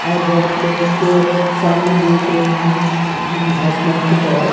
और बहुत लोग सामने देख रहे हैं आसमान की तरफ।